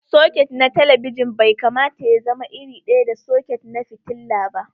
Soket na talabijin bai kamata y azama iri ɗaya da soket na filla ba.